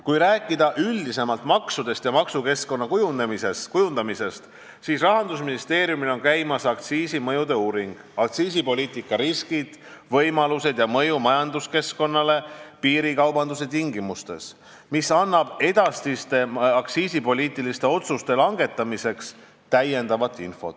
Kui rääkida maksudest ja maksukeskkonna kujundamisest üldisemalt, siis Rahandusministeeriumil on käimas aktsiisimõjude uuring "Aktsiisipoliitika riskid, võimalused ja mõju majanduskeskkonnale piirikaubanduse tingimustes", mis annab edasiste aktsiisipoliitiliste otsuste langetamiseks täiendavat infot.